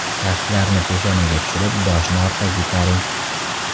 Kaftlarni peshonaga tushirib, boshni orqaga itaring.